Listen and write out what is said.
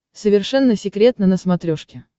совершенно секретно на смотрешке